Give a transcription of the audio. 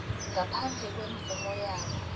ngaphandle kwemvumo yabo